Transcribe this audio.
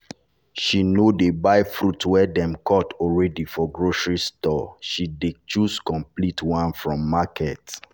she no dey buy fruit wey dem cut already for grocery store she dey choose complete one from market.